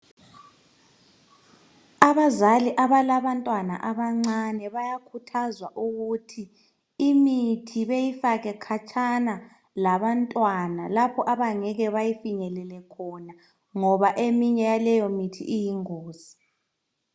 Abazali abalabantwana abancane bayakhuthazwa ukuthi imithi beyifake khatshana labantwana, lapho abangeke beyifinyelele khona, ngoba eminye yaleyo mithi iyingozi.